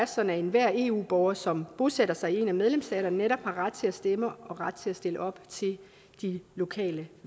sådan at enhver eu borger som bosætter sig i en af medlemsstaterne netop har ret til at stemme og ret til at stille op til de lokale